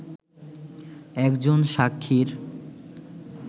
একজন সাক্ষীর